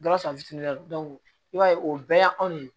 Gawusu fitiinin i b'a ye o bɛɛ y'anw de ye